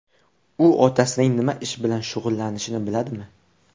U otasining nima ish bilan shug‘ullanishini biladimi?